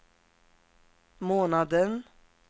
månaden